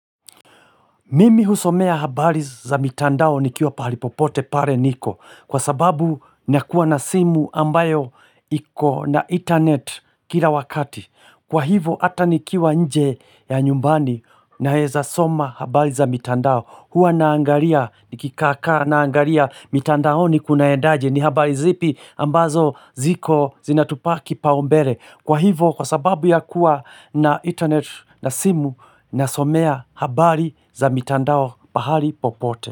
Mimi husomea habari za mitandao nikiwa pahali popote pale nipo kwa sababu nakuwa na simu ambayo iko na internet kila wakati. Kwa hivo hata nikiwa nje ya nyumbani ninaweza soma habari za mitandao. Huwa naangalia nikikaa naangalia mitandaoni kunaendaje ni habari zipi ambazo ziko zinatupa kipaumbele. Kwa hivyo kwa sababu ya kuwa na internet na simu nasomea habari za mitandao pahali popote.